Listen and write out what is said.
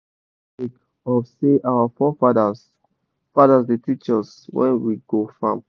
we sabi dis song sake of say our fore fadas fadas da teach us wen we go farm